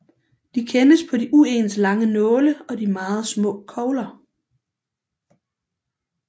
De kendes på de uens lange nåle og de meget små kogler